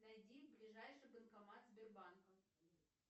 найди ближайший банкомат сбербанка